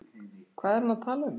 Hvað er hann að tala um?